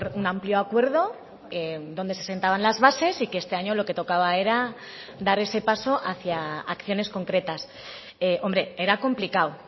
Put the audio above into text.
un amplio acuerdo donde se sentaban las bases y que este año lo que tocaba era dar ese paso hacia acciones concretas hombre era complicado